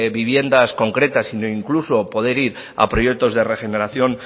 viviendas concretas sino incluso poder ir a proyectos de regeneración